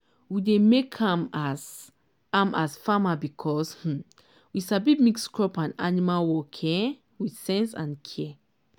we dey make am as am as farmer because um we sabi mix crop and animal work um with sense and care.